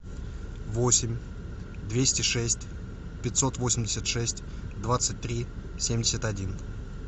восемь двести шесть пятьсот восемьдесят шесть двадцать три семьдесят один